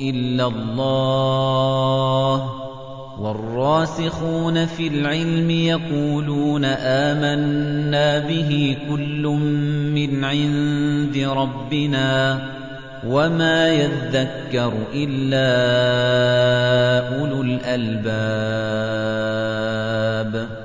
إِلَّا اللَّهُ ۗ وَالرَّاسِخُونَ فِي الْعِلْمِ يَقُولُونَ آمَنَّا بِهِ كُلٌّ مِّنْ عِندِ رَبِّنَا ۗ وَمَا يَذَّكَّرُ إِلَّا أُولُو الْأَلْبَابِ